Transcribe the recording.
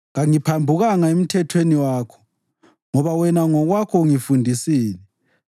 Kangiphambukanga emithethweni yakho, ngoba wena ngokwakho ungifundisile.